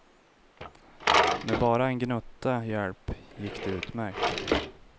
Med bara en gnutta hälp gick det utmärkt.